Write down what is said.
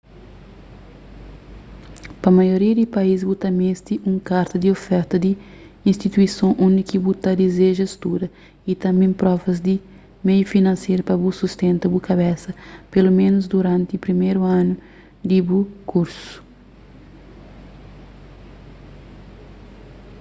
pa maioria di país bu ta meste di un karta di oferta di instituison undi ki bu ta dizeja studa y tanbê provas di meiu finanseru pa bu sustenta bu kabesa peloménus duranti priméru anu di bu kursu